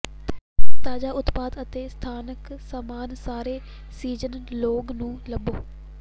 ਤਾਜ਼ਾ ਉਤਪਾਦ ਅਤੇ ਸਥਾਨਕ ਸਾਮਾਨ ਸਾਰੇ ਸੀਜ਼ਨ ਲੌਂਗ ਨੂੰ ਲੱਭੋ